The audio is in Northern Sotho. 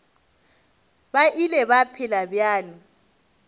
ba ile ba phela bjalo